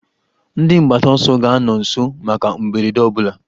Ndị mgbataọsọ ga-anọ nso maka mberede ọ bụla.